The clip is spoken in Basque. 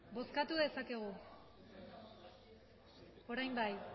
berbotsa orain bai